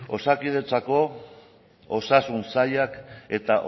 osakidetzako osasun sailak eta